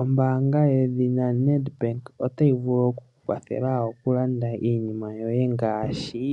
Ombaanga yedhina Nedbank otayi vulu okuku kwathela mokulanda iinima yoye ngaashi: